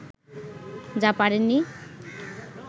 যা পারেননি